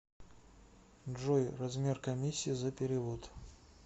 джой размер комиссии за перевод